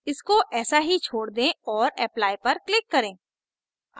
इसको ऐसा ही छोड़ दें और apply पर click करें